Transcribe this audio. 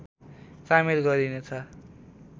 सामेल गरिनेछ